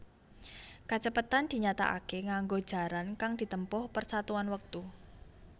Kacepetan dinyatakaké nganggo jarak kang ditempuh per satuan wektu